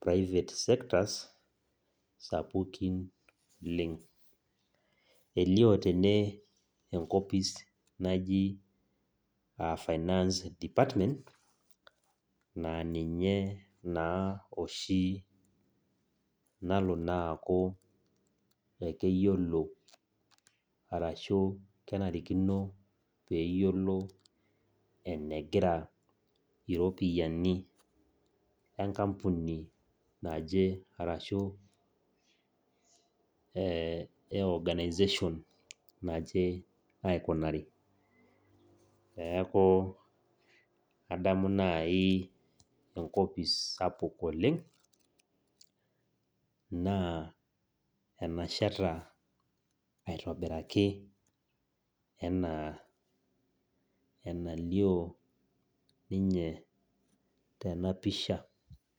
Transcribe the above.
private sectors, sapukin oleng'. Elio tene enkopis naji, finance department, naa ninye nalo sii aaku keiyolo ashu kenarikino peeyiolo enegira iropiani enkapuni naje, arashu e organization naje aikunari. Neaku naaji enkopis sapuk oleng', naa enasheta aitobiraki anaa enalio ninye tena pisha.